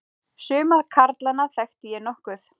Suma karlana þekkti ég nokkuð.